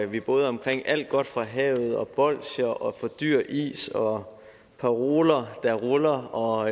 vi både er omkring alt godt fra havet og bolsjer og for dyr is og paroler der ruller og